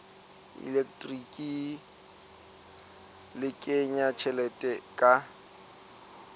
elektroniki le kenya tjhelete ka